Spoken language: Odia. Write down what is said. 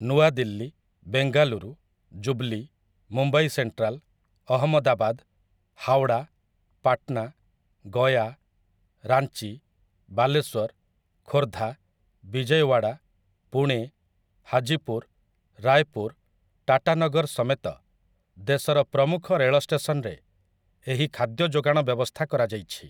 ନୂଆଦିଲ୍ଲୀ, ବେଙ୍ଗାଲୁରୁ, ଜୁବଲି, ମୁମ୍ବାଇ ସେଣ୍ଟ୍ରାଲ, ଅହମଦାବାଦ, ହାୱଡ଼ା, ପାଟନା, ଗୟା, ରାଞ୍ଚି, ବାଲେଶ୍ୱର, ଖୋର୍ଦ୍ଧା, ବିଜୟୱାଡ଼ା, ପୁଣେ, ହାଜିପୁର, ରାୟପୁର, ଟାଟାନଗର ସମେତ ଦେଶର ପ୍ରମୁଖ ରେଳଷ୍ଟେସନରେ ଏହି ଖାଦ୍ୟ ଯୋଗାଣ ବ୍ୟବସ୍ଥା କରାଯାଇଛି ।